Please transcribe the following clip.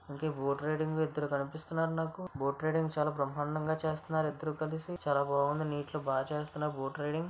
Boat riding ఇద్దరు కనిపిస్తున్నారు నాకు బోటు రైడింగు చాలా బ్రహ్మాండంగా చేస్తున్నారు ఇద్దరు కలిసి చాలా బాగుంది నీటిలో బాగా చేస్తున్నారు బోటు రైడింగు.